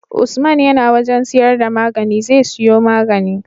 Usman yAna wajan siyar da magani zai siyo magani